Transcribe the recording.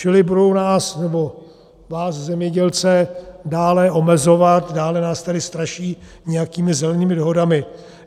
Čili budou nás, nebo vás zemědělce, dále omezovat, dále nás tedy straší nějakými zelenými dohodami.